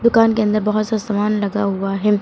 दुकान के अंदर बहोत सा सामान लगा हुआ है।